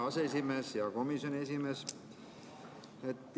Hea komisjoni esimees!